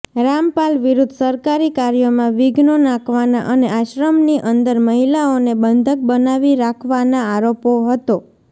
રામપાલ વિરુદ્ધ સરકારી કાર્યોમાં વિધ્નો નાખવાના અને આશ્રમની અંદર મહિલાઓને બંધક બનાવી રાખવાના આરોપ હતો